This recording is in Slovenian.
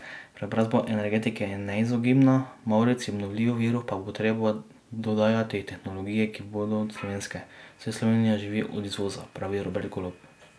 Preobrazba energetike je neizogibna, mavrici obnovljivih virov pa bo treba dodajati tehnologije, ki bodo slovenske, saj Slovenija živi od izvoza, pravi Robert Golob.